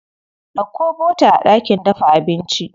Ɗauko bota a ɗakin dafa abinci.